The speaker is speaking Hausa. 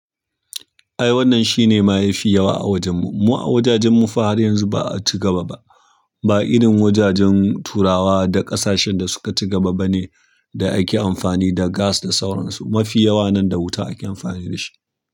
Ai wannan shine ma yafi yawa wajenmu. Mu a wajajen mu fa har yanzu ba'a cigaba ba. Ba irin wajajen turawa da ƙasashen da suka cigaba bane da ake amfani da gas da sauransu. Mafi yawa nan da wuta ake amfani dashi.